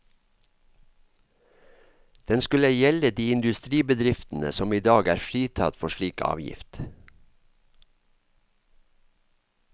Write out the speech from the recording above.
Den skulle gjelde de industribedriftene som i dag er fritatt for slik avgift.